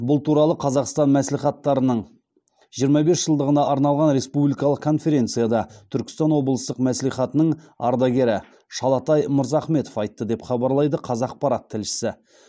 бұл туралы қазақстан мәслихаттарының жиырма бес жылдығына арналған республикалық конференцияда түркістан облыстық мәслихатының ардагері шалатай мырзахметов айтты деп хабарлайды қазақпарат тілшісі